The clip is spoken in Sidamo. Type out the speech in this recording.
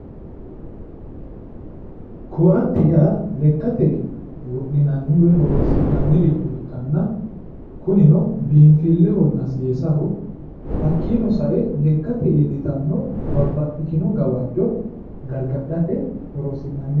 Koate yaa lekkate wodhinanni woyi horoonsi'nanni ikkanana kunino lekkate woy babaxeworichora horonsi'nanni